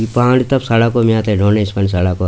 इ बाण तब सड़क सड़क पर।